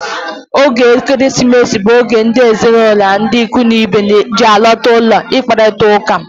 Oge Ekeresimesi bụ oge ndị ezinụlọ na ikwu na ibe ji alọta ụlọ akparita ụka.